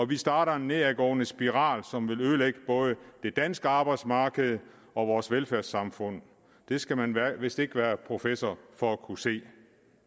vil starte en nedadgående spiral som vil ødelægge både det danske arbejdsmarked og vores velfærdssamfund det skal man vist ikke være professor for at kunne se